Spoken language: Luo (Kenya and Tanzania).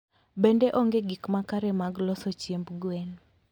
Bende, onge gik makare mag loso chiemb gwen.